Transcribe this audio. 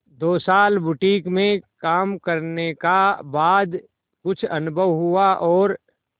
दो साल बुटीक में काम करने का बाद कुछ अनुभव हुआ और